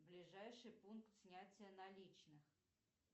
ближайший пункт снятия наличных